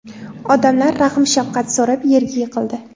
Odamlar rahm-shafqat so‘rab yerga yiqildi.